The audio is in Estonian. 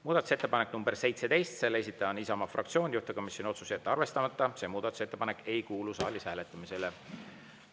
Muudatusettepanek nr 17, selle esitaja on Isamaa fraktsioon, juhtivkomisjoni otsus: jätta arvestamata, see muudatusettepanek ei kuulu saalis hääletamisele.